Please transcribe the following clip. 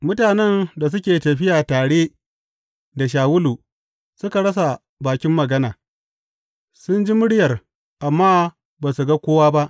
Mutanen da suke tafiya tare da Shawulu suka rasa bakin magana; sun ji muryar amma ba su ga kowa ba.